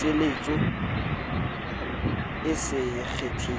puseletso e se kenyel letsang